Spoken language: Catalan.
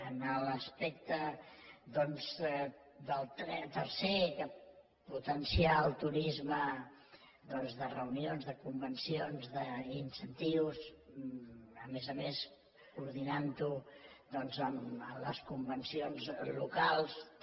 en l’aspecte del tercer potenciar el turisme de reunions de convencions d’incentius a més a més coordinant ho amb les convencions locals també